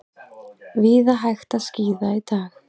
Víða hægt að skíða í dag